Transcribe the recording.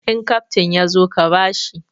In kaftin ya zo ka ba shi!